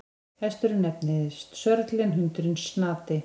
Hesturinn nefnist Sörli en hundurinn Snati.